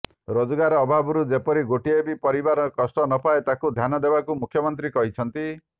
ରୋଜଗାର ଅଭାବରୁ ଯେପରି ଗୋଟିଏ ବି ପରିବାର କଷ୍ଟ ନପାଏ ତାକୁ ଧ୍ୟାନ ଦେବାକୁ ମୁଖ୍ୟମନ୍ତ୍ରୀ କହିଛନ୍ତି